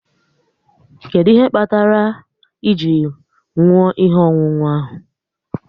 Kedụ ihe kpatara ji nwụọ ihe ọṅụṅụ ahụ?